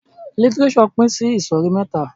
Lítírésò pin sí ìsòrí mẹ́ta